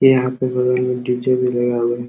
यहाँ पे बगल में डी.जे भी लगा हुआ है।